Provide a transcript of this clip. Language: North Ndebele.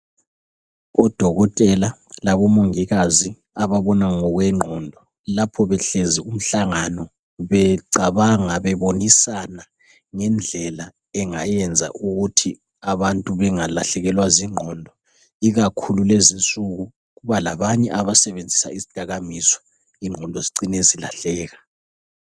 Odokotela labomongikazi ababona ngokwengqondo lapho behlezi umhlangano becabanga bebonisana ngendlela engayenza ukuthi abantu bengalahlekelwa zingqondo ikakhulu lezinsuku kubalabanye abasebenzisa izidakamizwa. Ingqondo zicine zilahleka.